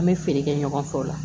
An bɛ feere kɛ ɲɔgɔn fɛ o la